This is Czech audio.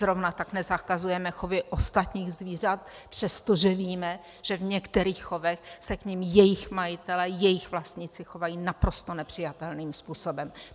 Zrovna tak nezakazujeme chovy ostatních zvířat, přestože víme, že v některých chovech se k nim jejich majitelé, jejich vlastníci chovají naprosto nepřijatelným způsobem.